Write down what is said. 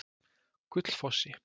Gullfossi